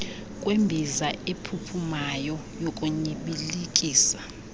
kwembiza ephuphumayo yokunyibilikisa